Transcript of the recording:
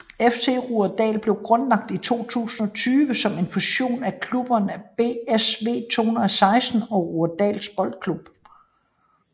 FC Rudersdal blev grundlagt i 2020 som en fusion af klubberne BSV2016 og Rudersdal Boldklub